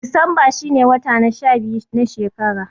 Disamba shine wata na sha biyu na shekara.